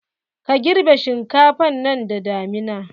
Ka girɓe shinkafan nan da damina!